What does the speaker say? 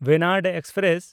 ᱵᱮᱱᱟᱰ express